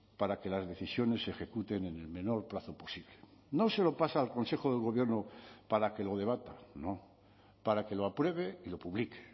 para que las decisiones se ejecuten en el menor plazo posible no se lo pasa al consejo de gobierno para que lo debata no para que lo apruebe y lo publique